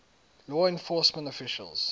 law enforcement officials